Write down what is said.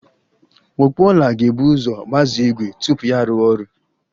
Ọkpụ ọla ga-ebu uzo gbazee igwe tupu ya arụwa ọrụ